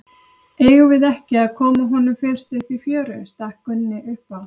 Eigum við ekki að koma honum fyrst upp í fjöru, stakk Gunni upp á.